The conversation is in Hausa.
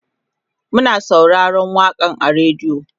Muna sauraron waƙan a radio